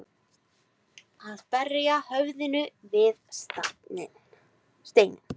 Að berja höfðinu við steininn